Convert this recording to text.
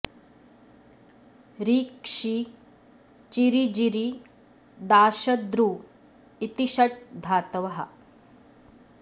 रि क्षि चिरि जिरि दाश दृ इति षट् धातवः